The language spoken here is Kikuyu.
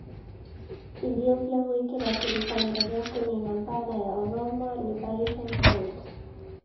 Ethiopia gwĩkĩra kĩrĩĩkanĩro gĩa kũniina mbaara na Oromo Liberation Front